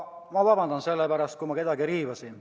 Ma vabandan, kui ma kedagi riivasin.